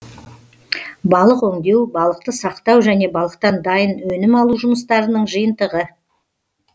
балық өңдеу балықты сақтау және балықтан дайын өнім алу жұмыстарының жиынтығы